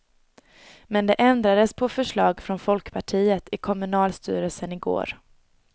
Men det ändrades på förslag från folkpartiet i kommunstyrelsen igår.